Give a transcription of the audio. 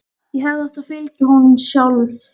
Ég hefði átt að fylgja honum sjálf.